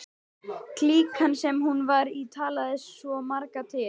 Klíkan, sem hún var í, talaði svo marga til.